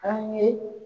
An ye